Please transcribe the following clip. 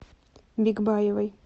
бикбаевой